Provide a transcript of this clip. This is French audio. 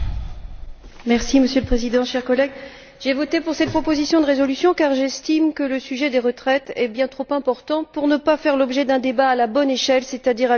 Monsieur le Président, chers collègues, j'ai voté pour cette proposition de résolution car j'estime que le sujet des retraites est bien trop important pour ne pas faire l'objet d'un débat à la bonne échelle, c'est à dire à l'échelle européenne.